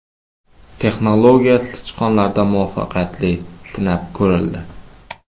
Texnologiya sichqonlarda muvaffaqiyatli sinab ko‘rildi.